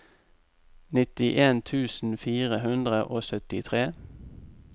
nittien tusen fire hundre og syttitre